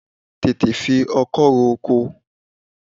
Tètè fi ọkọ́ ro oko!